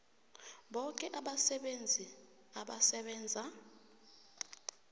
boke abasebenzi abasebenza